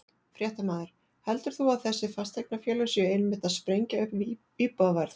Fréttamaður: Heldur þú að þessi fasteignafélög séu einmitt að sprengja upp íbúðaverð?